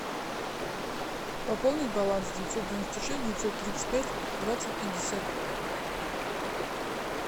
пополнить баланс девятьсот девяносто шесть девятьсот тридцать пять двадцать пятьдесят